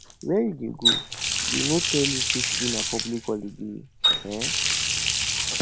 where you dey go dey no tell you say today na public holiday um